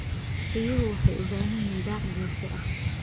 Riyuhu waxay u baahan yihiin daaq joogto ah.